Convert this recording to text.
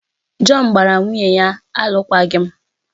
Jọn gbara nwunye ya alụkwaghịm